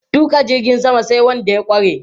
Tuƙa jirgin sama sai wanda ya ƙware.